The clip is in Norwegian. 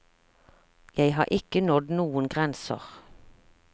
Jeg har ikke nådd noen grenser.